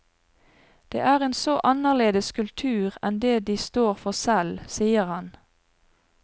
Det er en så annerledes kultur enn det de står for selv, sier han.